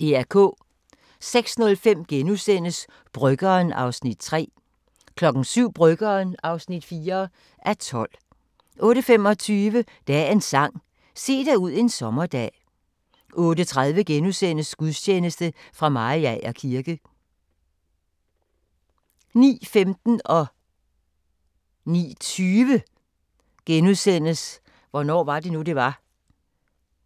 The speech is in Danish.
06:05: Bryggeren (3:12)* 07:00: Bryggeren (4:12) 08:25: Dagens Sang: Se dig ud en sommerdag 08:30: Gudstjeneste fra Mariager kirke * 09:15: Hvornår var det nu, det var? *